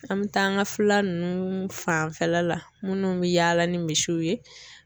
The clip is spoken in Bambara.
An me taa an ka fila ninnu fanfɛla la minnu bɛ yaala ni misiw ye